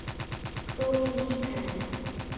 Þú ert lík henni.